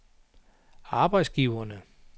arbejdsgiverne